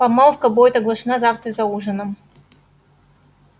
помолвка будет оглашена завтра за ужином